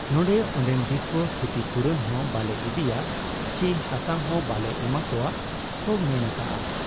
ᱱᱚᱰᱮ ᱚᱱᱰᱮᱱ ᱫᱤᱥᱩᱣᱟᱹ ᱠᱷᱤᱛᱤᱯᱩᱨᱚᱱ ᱦᱚᱸ ᱵᱟᱞᱮ ᱤᱫᱤᱭᱟ ᱪᱤ ᱦᱟᱥᱟ ᱦᱚᱸ ᱵᱟᱞᱮ ᱮᱢᱚᱜ ᱟ ᱠᱚ ᱢᱮᱱ ᱟᱠᱟᱜ ᱟ ᱾